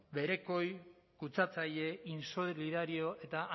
berekoi kutsatzaile insolidario eta